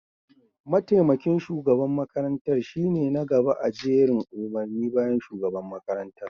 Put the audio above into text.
mataimakin shugaban makarantar shine na gaba a jerin umarni bayan shugaban makarantar